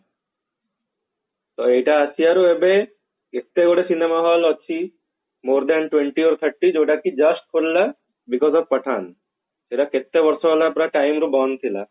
ଏଇଟା ଆସିବାରୁ ଏବେ ଯେତେ ଗୁଡେ ସିନେମା hall ଅଛି more than twenty or thirty ଯୋଉଟା କି just ଖୋଲିଲା because of pathan ସେଟା କେତେବର୍ଷ ହେଲା ପ୍ରାଏ time ରୁ ବନ୍ଦ ଥିଲା